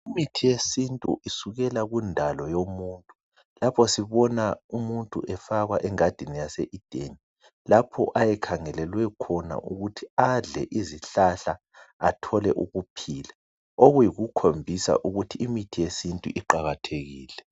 Imithi yesintu isukela kundalo yomuntu lapho sibona umuntu efakwa engadini yase ideni lapho aye khangelelwe khona ukuthi adle izihlahla athole ukuphila okuyikukhombisa ukuthi imithi yesintu iqakathekile